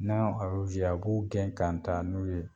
N'anw a b'o gɛn ka taa n'u ye